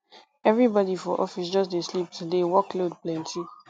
everybody for office just dey sleep today work load plenty